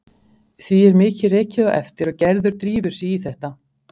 Því er mikið rekið á eftir og Gerður drífur sig í þetta.